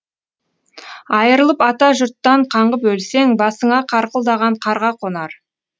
айырылып ата жұрттан қаңғып өлсең басыңа қарқылдаған қарға қонар